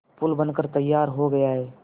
पुल बनकर तैयार हो गया है